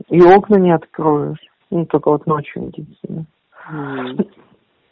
и окна не откроешь нут только вот ночью единственное